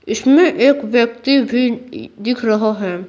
इसमें एक व्यक्ति भी दिख रहा है।